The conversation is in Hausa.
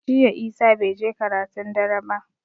Jiya Isah bai je karatun dare ba